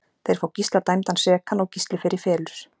Þeir fá Gísla dæmdan sekan og Gísli fer í felur.